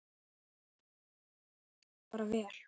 Það hentar okkur bara vel.